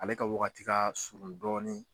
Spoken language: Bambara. Ale ka wagati ka surun dɔɔni.